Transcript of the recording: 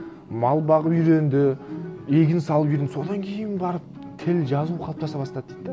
мал бағып үйренді егін салып үйренді содан кейін барып тіл жазу қалыптаса бастады дейді де